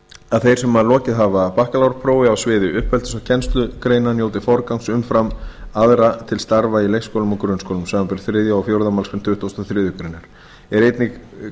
að þeir sem lokið hafa bakkalárprófi á sviði uppeldis og kennslugreina njóti forgangs umfram aðra til starfa í leikskólum og grunnskólum samanber þriðju og fjórða málslið tuttugasta og fjórðu grein er einnig